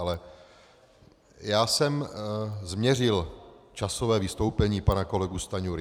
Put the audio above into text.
Ale já jsem změřil časově vystoupení pana kolegy Stanjury.